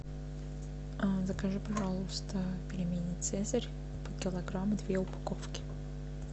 закажи пожалуйста пельмени цезарь по килограмму две упаковки